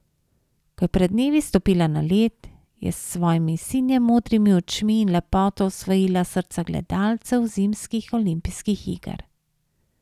Ko je pred dnevi stopila na led, je s svojimi sinje modrimi očmi in lepoto osvojila srca gledalcev zimskih olimpijskih iger.